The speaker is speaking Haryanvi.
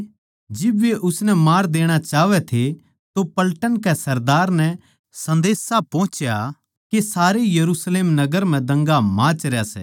जिब वे उसनै मार देणा चाहवै थे तो पलटन के सरदार नै सन्देशा पोहुच्या के सारे यरुशलेम नगर म्ह दंगा माचरया सै